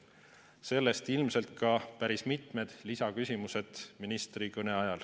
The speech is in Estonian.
Sellest ilmselt ka päris mitu lisaküsimust ministri kõne kohta.